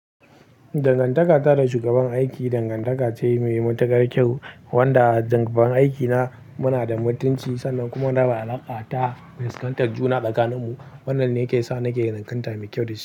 Dangantaka ta da shugaban aiki dangantaka ce mai matukar kyau, wanda shugaban aiki na muna da mutunci sannan kuma muna alaƙa ta fuskantar juna tsakanin mu. Wannan ne ke sa nake alƙanta mai kyau da shi.